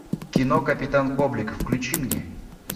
кино капитан коблик включи мне